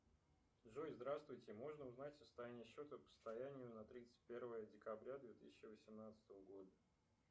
джой здравствуйте можно узнать состояние счета по состоянию на тридцать первое декабря две тысячи восемнадцатого года